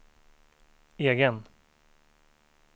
egen